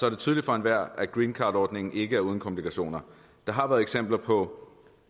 er tydeligt for enhver at greencardordningen ikke er uden komplikationer der har været eksempler på